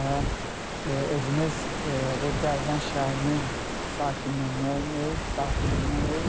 Və özümüz bu Dərbənd şəhərinin sakinləriyik.